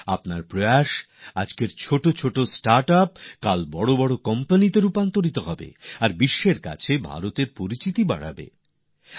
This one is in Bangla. আপনার প্রচেষ্টা আজকের ছোটো ছোটো স্টার্টআপস কাল বড় বড় কোম্পানিতে পরিণত হবে আর বিশ্বে ভারতের পরিচিতি গড়ে উঠবে